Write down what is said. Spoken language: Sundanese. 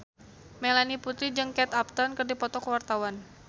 Melanie Putri jeung Kate Upton keur dipoto ku wartawan